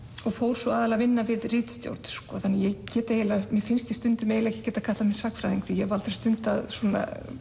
og fór svo aðallega að vinna við ritstjórn þannig að mér finnst ég stundum ekki geta kallað mig sagnfræðing því ég hef aldrei stundað svona